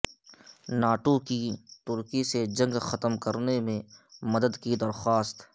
NATO کی ترکی سے جنگ ختم کرنے میں مدد کی درخواست